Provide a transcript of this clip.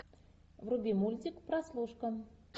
вруби мультик прослушка